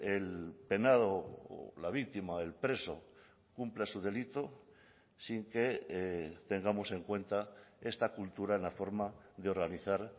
el penado o la víctima el preso cumpla su delito sin que tengamos en cuenta esta cultura en la forma de organizar